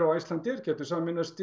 og Icelandair gætu sameinast